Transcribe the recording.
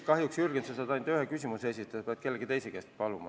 Kahjuks, Jürgen, sa saad ainult ühe küsimuse esitada, pead nüüd kedagi teist paluma.